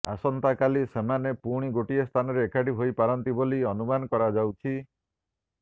ଆସନ୍ତାକାଲି ସେମାନେ ପୁଣି ଗୋଟିଏ ସ୍ଥାନରେ ଏକାଠି ହୋଇପାରନ୍ତି ବୋଲି ଅନୁମାନ କରାଯାଉଛି